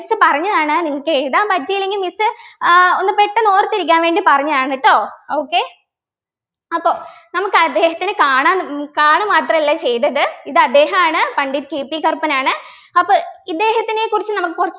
miss പറഞ്ഞതാണ് നിങ്ങൾക്ക് എഴുതാൻ പറ്റിയില്ലെങ്കിൽ miss ഏർ ഒന്ന് പെട്ടന്ന് ഓർത്തിരിക്കാൻ വേണ്ടി പറഞ്ഞതാണ് കേട്ടോ okay അപ്പൊ നമുക്ക് അദ്ദേഹത്തിന് കാണാ ഉം കാണു മാത്രല്ല ചെയ്തത് ഇത് അദ്ദേഹമാണ് പണ്ഡിറ്റ് KP കറുപ്പൻ ആണ് അപ്പൊ ഇദ്ദേഹത്തിനെ കുറിച്ച് നമുക്ക്